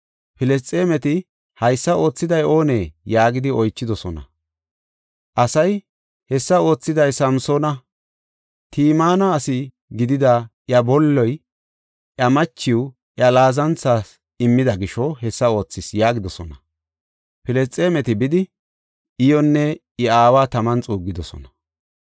Filisxeemeti, “Haysa oothiday oonee?” yaagidi oychidosona. Asay, “Hessa oothiday Samsoona. Timina asi gidida iya bolloy, iya machiw iya laazanthas immida gisho hessa oothis” yaagidosona. Filisxeemeti bidi iyonne I aawa taman xuuggidosona.